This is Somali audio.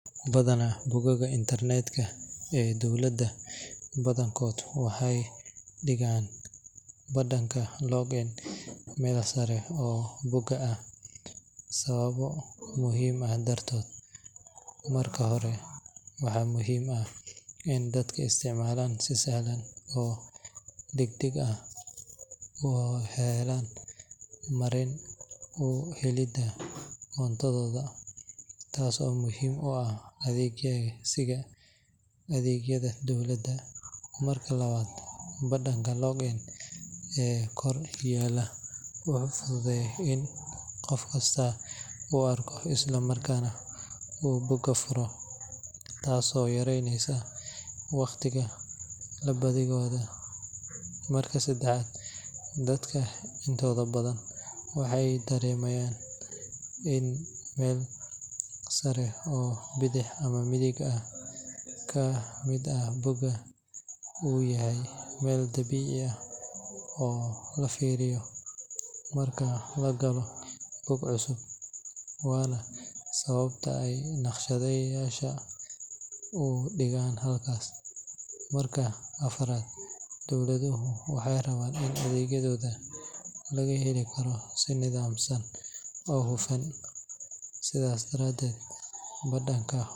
Batoonka galitaanka waxaa badanaa lagu dhejiyaa meesha ugu sareysa ee midigta mareegaha dowladda sababtoo ah waa meel si caadi ah loo filayo in dadka isticmaala ay raadiyaan marka ay doonayaan inay galaan akoonkooda gaarka ah. Meesha kore ee midig waa meel muuqata oo sahlan in la helo, taasoo ka dhigaysa in isticmaalayaasha ay si degdeg ah u ogaadaan halka ay ku geli karaan macluumaadkooda ama adeegyada gaarka ah ee dowladda. Tani waxay ka caawisaa dadka inay si fudud u isticmaalaan mareegaha, gaar ahaan marka ay jiraan adeegyo muhiim ah sida bixinta canshuuraha, diiwaangelinta, ama helitaanka warbixin rasmi ah.